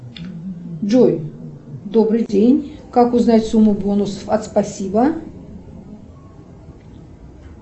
джой добрый день как узнать сумму бонусов от спасибо